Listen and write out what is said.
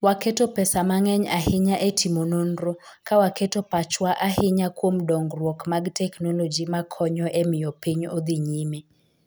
Waketo pesa mang'eny ahinya e timo nonro, ka waketo pachwa ahinya kuom dongruok mag teknoloji makonyo e miyo piny odhi nyime.